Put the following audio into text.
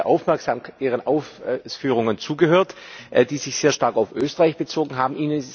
Ich habe sehr aufmerksam Ihren Ausführungen zugehört, die sich sehr stark auf Österreich bezogen haben.